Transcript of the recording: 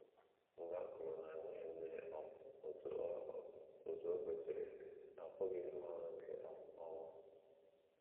um Mgbe akụrụ na - enweghị mmiri um otú o um otú o kwesịrị, ha apụghị ịrụ ọrụ nke um ọma.